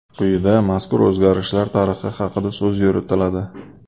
Quyida mazkur o‘zgarishlar tarixi haqida so‘z yuritiladi.